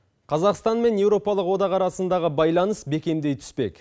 қазақстан мен еуропалық одақ арасындағы байланыс бекемдей түспек